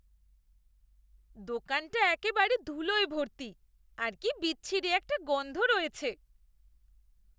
দোকানটা একেবারে ধুলোয় ভর্তি, আর কি বিচ্ছিরী একটা গন্ধ রয়েছে।